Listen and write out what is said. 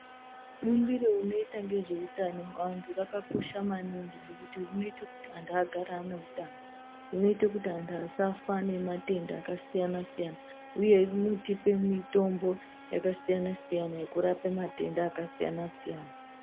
Bundiro rinoita zvehutano hwevandu rakakosha maningi ngekuti rinoita kuti antu agare ane hutano hunoita kuti antu asafa nematenda akasiyana-siyana uye inotipa mutombo wakasiyana-siyana wekurapa matenda akasiyana-siyana.